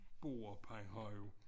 Borup han har jo